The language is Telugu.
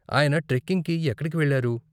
ఆయన ట్రెక్కింగ్ కి ఎక్కడికి వెళ్లారు?